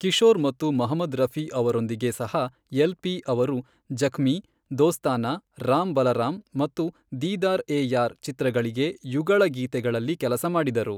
ಕಿಶೋರ್ ಮತ್ತು ಮೊಹಮ್ಮದ್ ರಫಿ ಅವರೊಂದಿಗೆ ಸಹ ಎಲ್ ಪಿ ಅವರು ಜಖ್ಮೀ, ದೋಸ್ತಾನಾ, ರಾಮ್ ಬಲರಾಮ್ ಮತ್ತು ದೀದಾರ್ ಎ ಯಾರ್ ಚಿತ್ರಗಳಿಗೆ ಯುಗಳ ಗೀತೆಗಳಲ್ಲಿ ಕೆಲಸ ಮಾಡಿದರು.